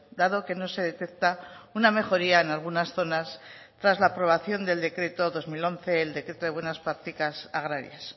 dado que no se detecta una mejoría en algunas zonas tras la aprobación del decreto dos mil once el decreto de buenas prácticas agrarias